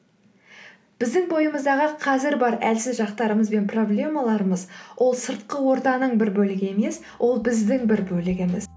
біздің бойымыздағы қазір бар әлсіз жақтарымыз бен проблемаларымыз ол сыртқы ортаның бір бөлігі емес ол біздің бір бөлігіміз